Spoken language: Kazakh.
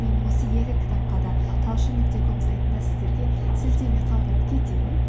менің осы екі кітапқа да талшын нүкте ком сайтында сіздерге сілтеме қалдырып кетемін